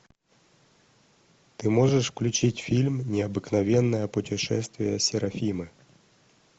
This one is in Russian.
ты можешь включить фильм необыкновенное путешествие серафимы